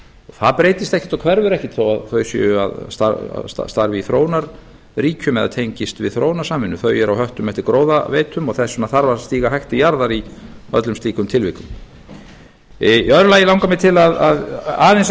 það breytist ekkert og hverfur ekkert þó að þau séu að starfa í þróunarríkjum eða tengist við þróunarsamvinnu þau eru á höttum eftir gróðaveitum og þess vegna þarf að stíga hægt til jarðar í öllum slíkum tilvikum í öðru lagi langar mig ærin aðeins að